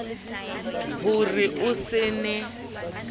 ho re o se ne